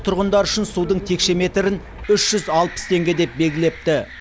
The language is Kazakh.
тұрғындар үшін судың текше метрін үш жүз алпыс теңге деп белгілепті